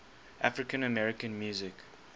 african american music